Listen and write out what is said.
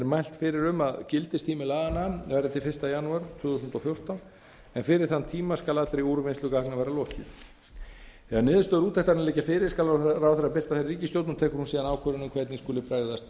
mælt fyrir um að gildistími laganna verði til fyrsta janúar tvö þúsund og fjórtán en fyrir þann tíma skal allri úrvinnslu gagna verða lokið þegar niðurstöður úttektarinnar liggja fyrir skal ráðherra birta þær í ríkisstjórn og tekur hún síðan ákvörðun um hvernig skuli bregðast